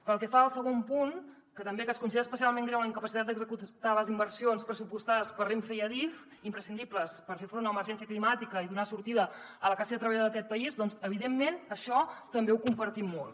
pel que fa al segon punt que es considera especialment greu la incapacitat d’executar les inversions pressupostades per renfe i adif imprescindibles per fer front a l’emergència climàtica i donar sortida a la classe treballadora d’aquest país doncs evidentment això també ho compartim molt